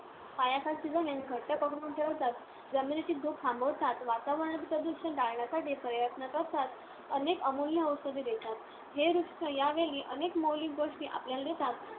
पायाखालची जमीन घट्ट पकडून ठेवतात. जमिनीची धूप थांबवतात. वातावरणातील प्रदूषण टाळण्यासाठी प्रयत्न करतात. अनेक अमूल्य औषधे देतात. हे वृक्ष, या वेली अनेक मौलिक गोष्टी आपल्याला देतात.